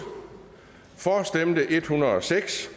for stemte en hundrede og seks